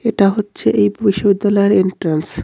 এটা হচ্ছে এই বিশ্ববিদ্যালয়ের এন্ট্রান্স .